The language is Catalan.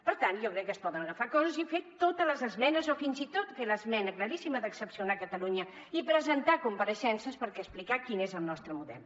per tant jo crec que es poden agafar coses i fer totes les esmenes o fins i tot fer l’esmena claríssima d’excepcionar catalunya i presentar compareixences per explicar quin és el nostre model